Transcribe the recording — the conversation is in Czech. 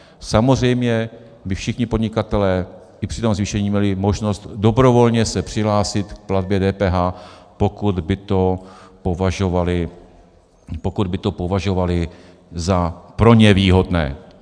Samozřejmě by všichni podnikatelé i při tom zvýšení měli možnost dobrovolně se přihlásit k platbě DPH, pokud by to považovali za pro ně výhodné.